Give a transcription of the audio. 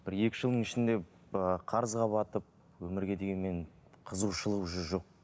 бір екі жылдың ішінде ыыы қарызға батып өмірге деген менің қызығушылық уже жоқ